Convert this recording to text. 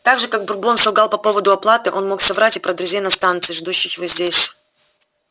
так же как бурбон солгал по поводу оплаты он мог соврать и про друзей на станции ждущих его здесь